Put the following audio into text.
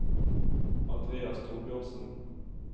Andreas Thorbjørnsen